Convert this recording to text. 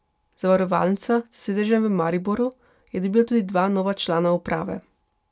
Zavarovalnica s sedežem v Mariboru je dobila tudi dva nova člana uprave.